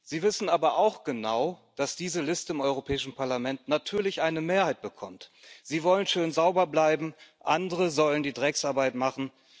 Sie wissen aber auch genau, dass diese Liste im Europäischen Parlament natürlich eine Mehrheit bekommt. Sie wollen schön sauber bleiben, andere sollen die Drecksarbeit machen.